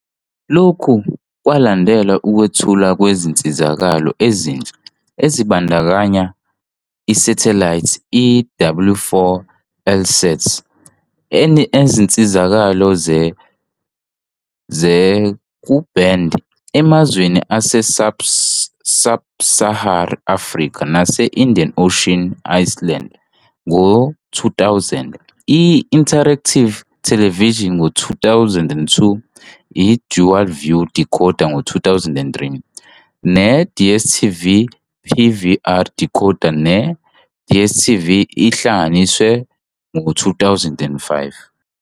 Lokhu kwalandelwa ukwethulwa kwezinsizakalo ezintsha ezibandakanya- Isathelayithi i-W4 Eutelsat enezinsizakalo ze-Ku-band emazweni ase-sub-Saharan Africa nase-Indian Ocean Islands ngo-2000, i-Interactive Television ngo-2002, i-Dual View decoder ngo-2003, ne-DStv PVR decoder ne-DStv Ihlanganisiwe ngo-2005.